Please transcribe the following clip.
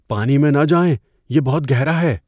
پانی میں نہ جائیں۔ یہ بہت گہرا ہے!